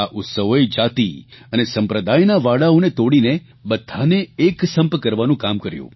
આ ઉત્સવોએ જાતિ અને સંપ્રદાયના વાડાઓને તોડીને બધાને એક સંપ કરવાનું કામ કર્યું